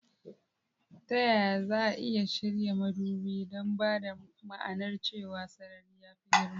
Ta yaya za a iya shirya madubi don ba da ma'anar cewa sarari ya fi girma?